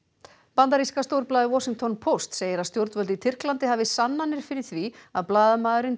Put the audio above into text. bandaríska stórblaðið Washington Post segir að stjórnvöld í Tyrklandi hafi sannanir fyrir því að blaðamaðurinn